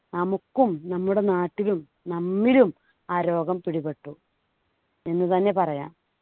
നമുക്കും നമ്മുടെ നാട്ടിലും നമ്മിലും ആ രോഗം പിടിപെട്ടു എന്ന് തന്നെ പറയാം.